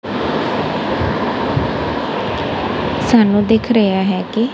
ਸਾਨੂੰ ਦਿੱਖ ਰਿਹਾ ਹੈ ਕਿ--